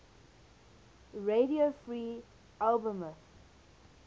radio free albemuth